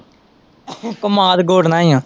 ਕੰਮਾਦ ਗੋਡਨਾ ਆ।